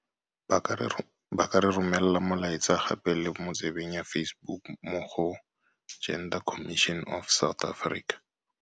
Ba ka re romela molaetsa gape le mo tsebeng ya Facebook mo go. Gender Commission of South Africa.